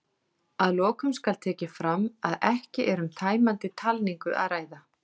Að lokum skal tekið fram að ekki er um tæmandi talningu að ræða.